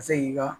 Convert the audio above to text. Ka se k'i ka